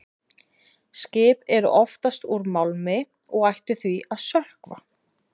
Skip eru oftast úr málmi og ættu því að sökkva.